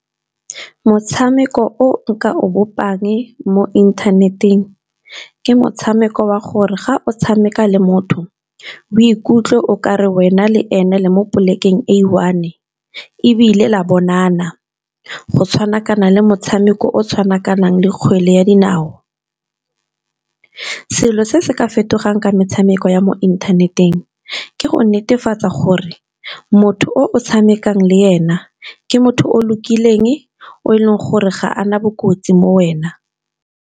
Motshameko o nka o bopang mo inthaneteng, ke motshameko wa gore ga o tshameka le motho o ikutlwe okare wena le ene le mo polekeng e one. E Ebile la bonana go tshwanakana le motshameko o tshwanakanang le kgwele ya dinao. Selo se se ka fetogang ka metshameko ya mo inthaneteng, ke go netefatsa gore motho o tshamekang le ena ke motho o lokileng, o e leng gore ga ana bokotsi mo wena.